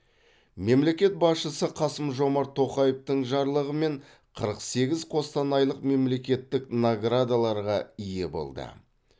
мемлекет басшысы қасым жомарт тоқаевтың жарлығымен қырық сегіз қостанайлық мемлекеттік наградаларға ие болды